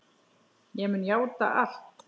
Ég mun játa allt.